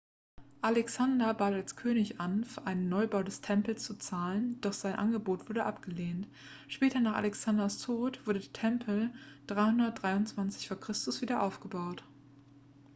alexander bat als könig an für einen neubau des tempels zu zahlen doch sein angebot wurde abgelehnt später nach alexanders tod wurde der tempel 323 v. chr. wieder aufgebaut